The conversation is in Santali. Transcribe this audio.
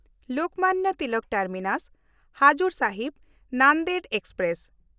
ᱞᱳᱠᱢᱟᱱᱱᱚ ᱛᱤᱞᱚᱠ ᱴᱟᱨᱢᱤᱱᱟᱥ–ᱦᱟᱡᱩᱨ ᱥᱟᱦᱤᱵ ᱱᱟᱱᱫᱮᱲ ᱮᱠᱥᱯᱨᱮᱥ